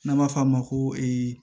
N'an b'a f'a ma ko